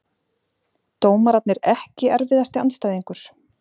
Dómararnir EKKI erfiðasti andstæðingur?